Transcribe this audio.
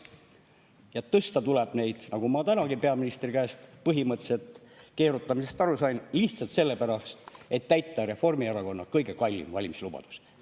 Ja tõsta tuleb neid, nagu ma tänagi peaministri põhimõtteliselt keerutamisest aru sain, lihtsalt sellepärast, et täita Reformierakonna kõige kallim valimislubadus.